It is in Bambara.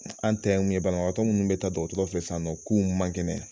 An ta ye mun ye banabagatɔ munnu be taa dɔgɔtɔrɔ filɛ san nɔ k'u man kɛnɛ